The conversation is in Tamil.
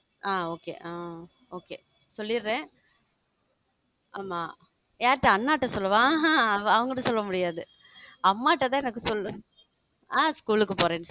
அஹ் okay ஆ okay சொல்லிடுறேன் ஆமா யார்ட்ட அண்ணாட்ட சொல்லவா? ஆஹா அவங்கிட்ட சொல்ல முடியாது அம்மாட்ட தா எனக்கு சொல்லுவே ஆஹ் school க்கு போறேன்னு